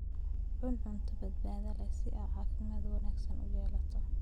Cun cunto badbaado leh si aad caafimaad wanaagsan u yeelato.